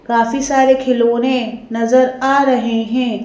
काफी सारे खिलौने नजर आ रहे हैं।